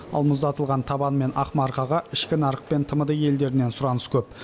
ал мұздатылған табан мен ақмарқаға ішкі нарық пен тмд елдерінен сұраныс көп